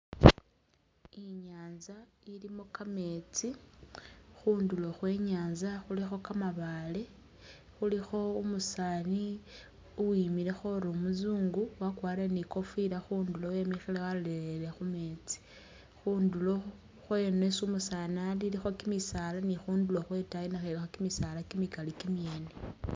I'nyanza ilimo kameetsi, khundulo khwe Nyanza khulikho kamabaale, khulikho umusaani uwimilekho ori umuzungu wakwarile ni kofila khundulo wemile walolelele khumeetsi, khundulo khweno khwesi umusaani ali ilikho kimisaala ni khundulo khwetaayi nakhwo ilikho kimisaala kimikali kimyene